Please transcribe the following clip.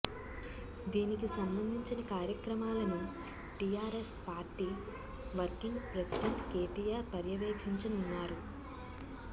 దీనికి సంబంధించిన కార్యక్రమాలను TRS party working president KTR పర్యవేక్షించనున్నారు